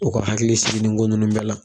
o ka hakili sigi nin ko ninnu bɛɛ la